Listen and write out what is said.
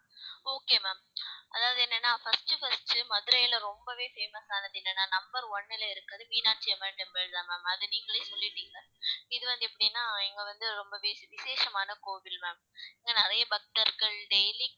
okay ma'am அதாவது என்னன்னா first first மதுரையில ரொம்பவே famous ஆனது என்னனா number one ல இருக்குறது மீனாட்சி அம்மன் temple தான் ma'am அதை நீங்களே சொல்லிட்டீங்க இது வந்து எப்படின்னா இங்க வந்து ரொம்பவே விசேஷமான கோவில் ma'am ஏன்னா நிறைய பக்தர்கள் daily